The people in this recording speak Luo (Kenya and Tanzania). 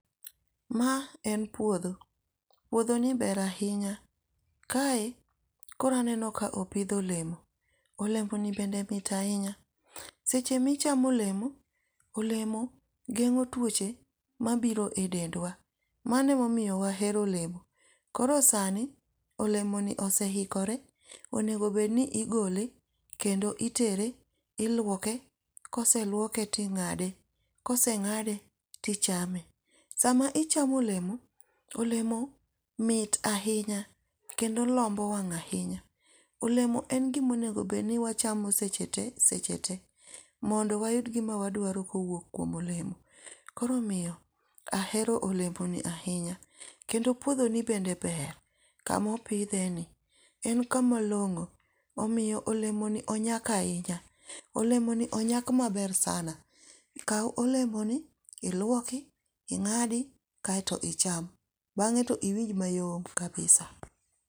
Ma en puodho. Puodhoni ber ahinya. Kae koro aneno ka opidh olemo. Olemo ni bende mit ahinya. Seche ma ichamo olemo, olemo gengó twoche mabiro e dendwa. Mano ema omiyo wahero olemo. Koro sani olemoni oseikore. Onego bed ni igole kendo itere, ilwoke, koselwoke to ingáde, kosengáde tichame. Sama ichamo olemo, olemo mit ahinya, kendo lombo wang' ahinya. Olemo en gima onego bed ni wachamo seche te, seche te. Mondo wayud gima wadwaro kowuok kuom olemo. Koro omiyo ahero olemo ni ahinya. Kendo puodho ni bende ber. Kama opidhe ni. En kama longó. Omiyo olemoni onyak ahinya. Olemoni onyak maber sana. Kau olemoni ilwoki, ingádi kaeto icham. Bangé to iwinj mayom kabisa.